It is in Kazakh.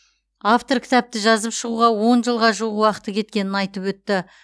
автор кітапты жазып шығуға он жылға жуық уақыты кеткенін айтып өтті